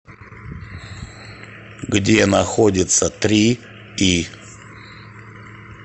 где находится три и